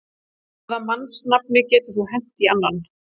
Hvaða mannsnafni getur þú hent í annan?